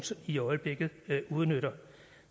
i øjeblikket udnytter